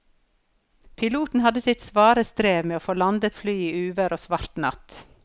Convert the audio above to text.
Piloten hadde sitt svare strev med å få landet flyet i uvær og svart natt.